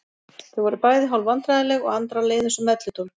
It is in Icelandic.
Þau voru bæði hálf vandræðaleg og Andra leið eins og melludólg.